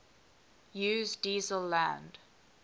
use diesel land